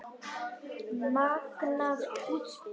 Magnað útspil.